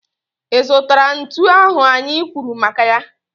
Ị zụtara ntu ahụ anyị kwuru maka ya?